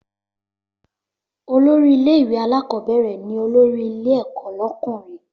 Olórí ilé ìwé alákọ́bẹ̀rẹ̀ ni olórí ilé ẹ̀kọ́ lọ́kùnrin